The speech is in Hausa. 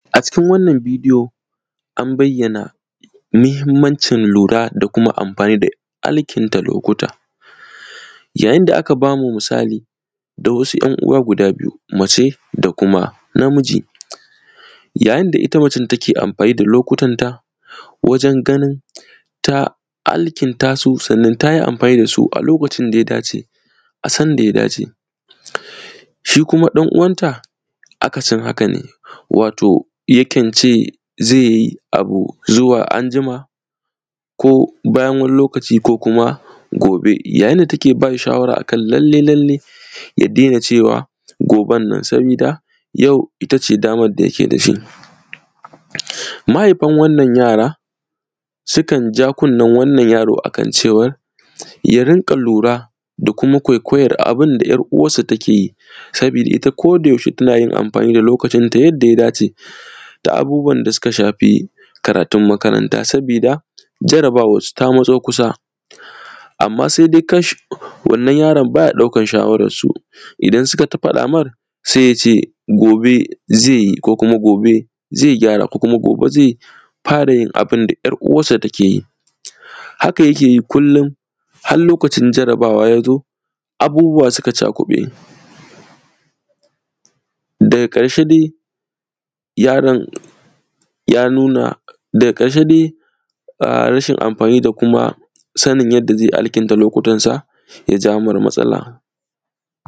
A cikin wannan bidiyo, an bayyana mihimmancin lura da kuma amfani da alkinta lokuta. Yayin da aka ba mu musali da wasu ‘yan uwa guda biyu, mace da kuma namiji, yayin da ita macen take amfani da lokutanta wajen ganin ta alkinta su sannan ta yi amfani da su a lokacin da ya dace a sanda ya dace. Shi kuma ɗan uwanta, akasin haka ne, wato yakan ce e ze yi zuwa anjima ko bayan wani lokaci ko kuma gobe. Yayin da take bas hi shawara a kan lalle-lalle, ya dena cewa goben nan, sabida yau ita ce daman da yake da shi. Mahaifan wannan yara, sikan ja kunnen wannan yaro a kan cewar, ya rinƙa lura da kuma kwaikwayar abin da ‘yar uwarsa take yi, sabida ita tana amfani da lokacinta yadda ya dace da abubuwan da sika shafi karatun makaranta sabida, jarabawarsu ta matso kusa. Amma se de kashi! Wannan yaron ba ya ɗaukar shawararsu, idan suka t; faɗa mar, se y ace gobe ze yi ko kuma gobe ze gyara ko kuma gobe ze fara yin abin da ‘yar uwarsa take yi. Haka yake yi kullin, har lokacin jarabawa ya zo, abubuwa sika cakuƃe, daga ƙarshe de, yaron ya nuna; daga ƙarshe de a; rashin amfani da kuma sanin yadda ze alkinta lokutansa, ya ja mar matsala.